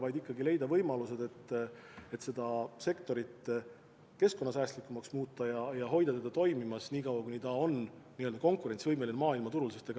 Tuleks ikkagi leida võimalused seda sektorit keskkonnasäästlikumaks muuta ja hoida teda toimimas nii kaua, kuni ta on maailmaturul konkurentsivõimeline.